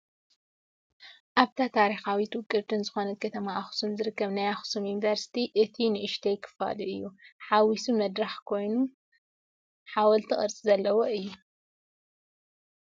ኣብታ ታሪካዊትን ውቅብትን ዝኮነት ከተማ ኣክሱም ዝርከብ ናይ ኣክሱም ዩኒቨርሲቲ እቱይ ንእሽተይ ክፋሉ እዩ። ሓዊሲ መድረክ ኮይኑ ሓወልቲ ቅርፂ ዘለዎ እዩ።